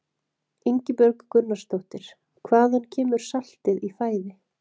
Ingibjörg Gunnarsdóttir: Hvaðan kemur saltið í fæði?